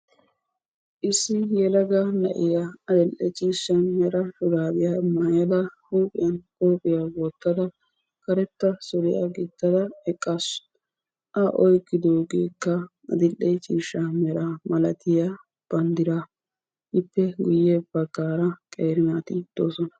Issi yelaga na'iya adil'e ciishsha mera shuraabiya mayada huuphiyan qophiya wottada karetta suriya gixxada eqqaasu. A oyiqqidoogeekka adil'e ciishsha mera malatiya banddiraa. Ippe guyye baggaara qeeri naati doosona.